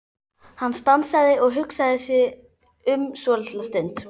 Hann stansaði og hugsaði sig um svolitla stund.